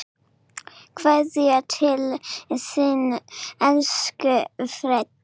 Kveðja til þín, elsku Freddi.